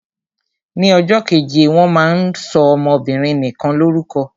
Ni ọjọ́ keje wọ́n máa ń sọ ọmọbinrin nikan lórúkọ.